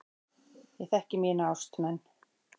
Ég þekki mína ástmenn.